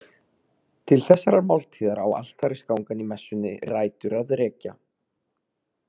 Til þessarar máltíðar á altarisgangan í messunni rætur að rekja.